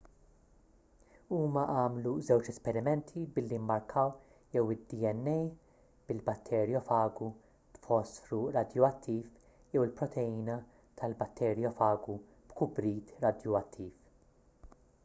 huma għamlu żewġ esperimenti billi mmarkaw jew id-dna fil-batterjofagu b'fosfru radjuattiv jew il-proteina tal-batterjofagu b'kubrit radjuattiv